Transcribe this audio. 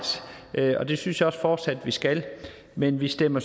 og det synes jeg også fortsat vi skal men vi stemmer